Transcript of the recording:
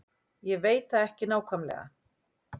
Ég veit það ekki nákvæmlega.